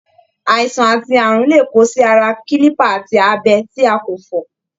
Àìsàn ati ààrùn lè kó sí ara kilipa àti abẹ tí a kò fọ.